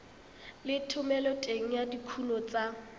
le thomeloteng ya dikuno tsa